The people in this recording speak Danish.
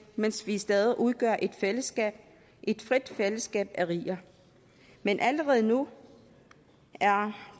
mens vi stadig udgør et fællesskab et frit fællesskab af riger men allerede nu er